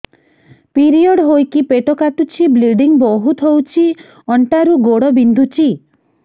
period ହୋଇକି ପେଟ କାଟୁଛି ବ୍ଲିଡ଼ିଙ୍ଗ ବହୁତ ହଉଚି ଅଣ୍ଟା ରୁ ଗୋଡ ବିନ୍ଧୁଛି